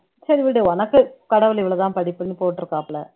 சரி விடு உனக்கு கடவுள் இவ்வளவுதான் படிப்புன்னு போட்டுருக்காப்புல